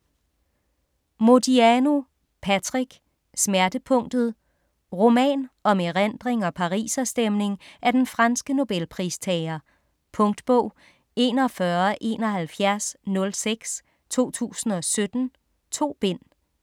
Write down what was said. Modiano, Patrick: Smertepunktet Roman om erindring og pariserstemning af den franske Nobelpristager. Punktbog 417106 2017. 2 bind.